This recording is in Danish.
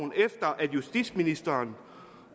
justitsministeren